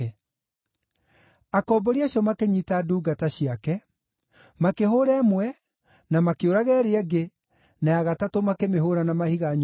“Akombori acio makĩnyiita ndungata ciake; makĩhũũra ĩmwe, na makĩũraga ĩrĩa ĩngĩ, na ya gatatũ makĩmĩhũũra na mahiga nyuguto.